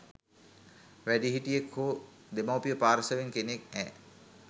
වැඩිහිටියෙක් හෝ දෙමව්පිය පාර්ශවයෙන් කෙනෙක්ඇ